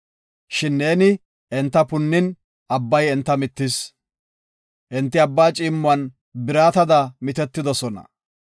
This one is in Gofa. Shin neeni enta punnin, Abbay enta mittis. Enti Abbaa ciimmuwan biratada mitetidosona.